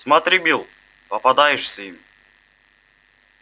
смотри билл попадаешься им